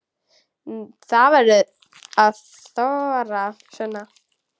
Þú verður að þora, Sunna.